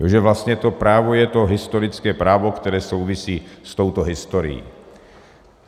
Že vlastně to právo je to historické právo, které souvisí s touto historií.